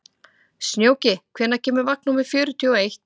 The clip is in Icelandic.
Snjóki, hvenær kemur vagn númer fjörutíu og eitt?